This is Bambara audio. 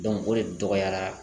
o de tɔgɔya la